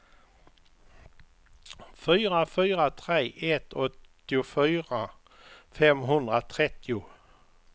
fyra fyra tre ett åttiofyra femhundratrettio